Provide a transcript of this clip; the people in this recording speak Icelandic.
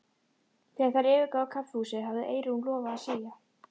Þegar þær yfirgáfu kaffihúsið hafði Eyrún lofað að segja